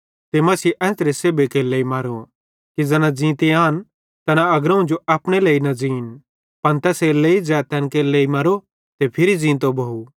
ते मसीह एन्च़रे सेब्भी केरे लेइ मरो कि ज़ैना ज़ींते आन तैना अग्रोवं जो अपने लेइ न ज़ीन पन तैसेरेलेइ ज़ै तैन केरे लेइ मरो ते फिरी ज़ींतो भोव